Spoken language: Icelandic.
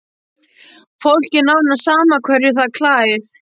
Fólki er nánast sama hverju það klæð